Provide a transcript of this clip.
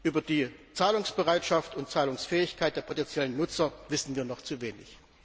Über die Zahlungsbereitschaft und Zahlungsfähigkeit der potenziellen Nutzer wissen wir noch zu wenig.